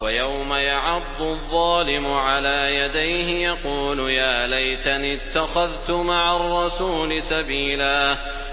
وَيَوْمَ يَعَضُّ الظَّالِمُ عَلَىٰ يَدَيْهِ يَقُولُ يَا لَيْتَنِي اتَّخَذْتُ مَعَ الرَّسُولِ سَبِيلًا